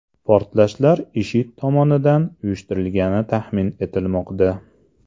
Portlashlar IShID tomonidan uyushtirilgani taxmin etilmoqda.